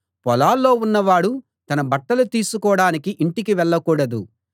పొలాల్లో ఉన్నవాడు తన బట్టలు తీసుకోడానికి ఇంటికి వెళ్ళకూడదు